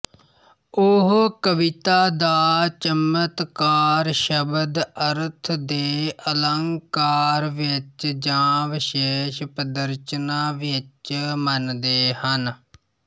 ਉਹ ਕਵਿਤਾ ਦਾ ਚਮਤਕਾਰ ਸ਼ਬਦ ਅਰਥ ਦੇ ਅਲੰਕਾਰ ਵਿੱਚ ਜਾਂ ਵਿਸ਼ੇਸ਼ ਪਦਰਚਨਾ ਵਿੱਚ ਮੰਨਦੇ ਹਨ